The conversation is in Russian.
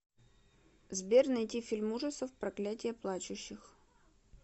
сбер найти фильм ужасов проклятие плачущих